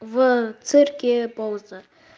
в цирке пауза